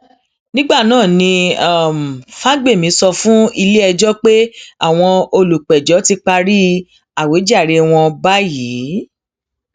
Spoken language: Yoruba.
nígbà náà ni um fagbemi sọ fún iléẹjọ pé àwọn olùpẹjọ ti parí àwíjàre wọn báyìí